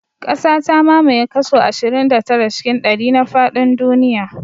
Ƙasa ta mamaye kaso ashirin da tara cikin ɗari na faɗin duniya